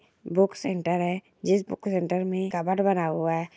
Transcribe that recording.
Book centre है जिस book centre में कबर्ड बना हुआ है।